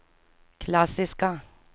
klassiska